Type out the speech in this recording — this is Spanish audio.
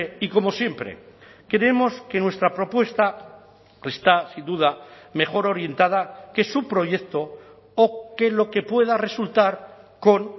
y como siempre creemos que nuestra propuesta está sin duda mejor orientada que su proyecto o que lo que pueda resultar con